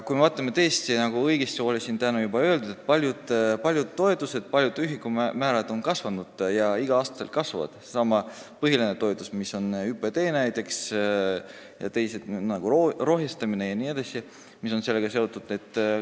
Kui me vaatame lähemalt, siis paljud toetused, paljud ühikumäärad on tõesti kasvanud ja kasvavad igal aastal, nagu siin täna juba õigesti öeldi, sh seesama põhiline toetus, mis on ÜPT, ja teised, mis on sellega seotud, nagu rohestamise toetus jne.